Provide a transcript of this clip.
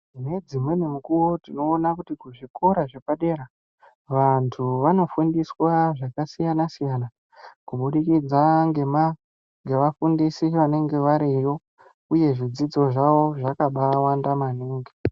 Ngedzimweni mukuwo tinoona kuti kuzvikora zvepadera vantu vanofundiswa zvakasiyana siyana kubudikidza ngema ngevafundisi vanenge variyo uye zvidzidzo zvawo zvakabaawanda maningi.